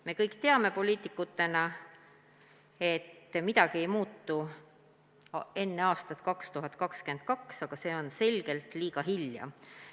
Me kõik teame, poliitikutena, et midagi ei muutu enne aastat 2022, aga see on selgelt liiga hilja.